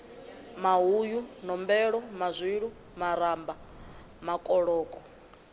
mahuyu nombelo mazwilu maramba makoloko